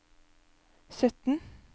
sytten